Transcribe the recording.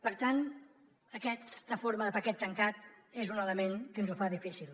per tant aquesta forma de paquet tancat és un element que ens ho fa difícil